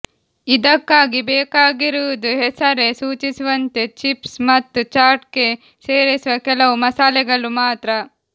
ಇದಕ್ಕಾಗಿ ಬೇಕಾಗಿರುವುದು ಹೆಸರೇ ಸೂಚಿಸುವಂತೆ ಚಿಪ್ಸ್ ಮತ್ತು ಚಾಟ್ಗೆ ಸೇರಿಸುವ ಕೆಲವು ಮಸಾಲೆಗಳು ಮಾತ್ರ